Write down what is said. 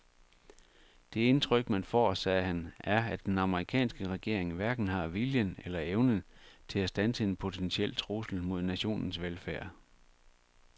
Det indtryk man får, sagde han, er at den amerikanske regering hverken har viljen eller evnen til at standse en potentiel trussel mod nationens velfærd.